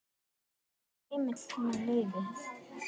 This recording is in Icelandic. Veiði er heimil með leyfi.